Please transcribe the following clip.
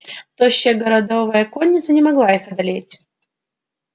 тощая городовая конница не могла их одолеть